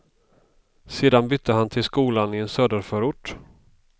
Sedan bytte han till skolan i en söderförort.